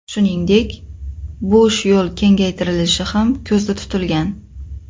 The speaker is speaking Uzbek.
Shuningdek, bosh yo‘l kengaytirilishi ham ko‘zda tutilgan.